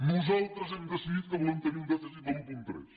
nosaltres hem decidit que volem tenir un dèficit de l’un coma tres